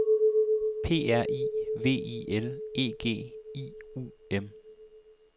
P R I V I L E G I U M